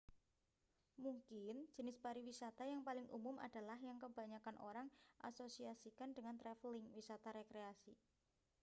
mungkin jenis pariwisata yang paling umum adalah yang kebanyakan orang iasosiasikan dengan travelling wisata rekreasi